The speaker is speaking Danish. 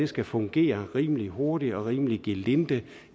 skal fungere rimelig hurtigt og rimelig gelinde